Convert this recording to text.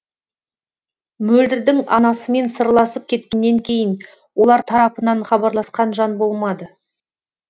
мөлдірдің анасымен сырласып кеткеннен кейін олар тарапынан хабарласқан жан болмады